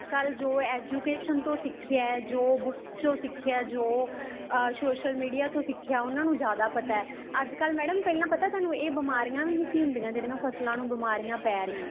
ਜੋ education ਤੋਂ ਸਿਖਿਆਂ ਏ ਜੋ books ਚੋ ਸਿਖਿਆਂ ਏ ਜੋ social media ਤੋਂ ਸਿਖਿਆਂ ਉਹਨੂੰ ਜਿਆਦਾ ਪਤਾ ਹੈ ਅੱਜ ਕੱਲ ਮੈਂ madam ਪਹਿਲਾਂ ਪਤਾ ਹੈ ਤੁਹਾਨੂੰ ਇਹ ਬਿਮਾਰੀਆਂ ਵੀ ਨਹੀਂ ਸੀ ਹੁੰਦੀਆਂ ਜਿਹੜੀਆਂ ਫ਼ਸਲਾ ਨੂੰ ਬਿਮਾਰੀਆਂ ਪੈ ਰਹੀਆਂ ਨੇ